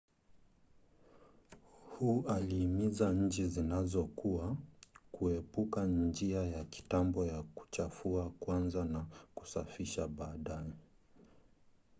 hu aliimiza nchi zinazokua kuepuka njia ya kitambo ya kuchafua kwanza na kusafisha baadaye.’’